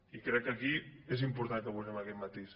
i crec que aquí és important que posem aquest matís